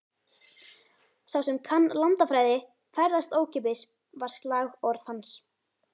Sá sem kann landafræði, ferðast ókeypis, var slagorð hans.